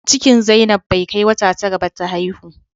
Cikin zainab bai kai wata tara ba ta haihu